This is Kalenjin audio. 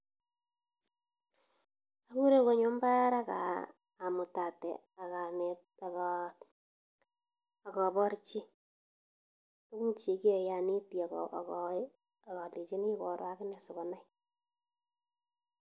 Akure konyo mbar ak amutate ak aneet ak koborchi tukuk chekiyoe, oneti ak kolenchini koroo ak inee sikonai.